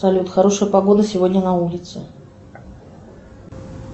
салют хорошая погода сегодня на улице